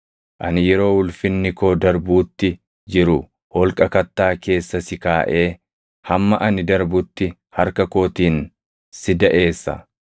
Ani yeroo ulfinni koo darbuutti jiru holqa kattaa keessa si kaaʼee hamma ani darbutti harka kootiin si daʼeessa.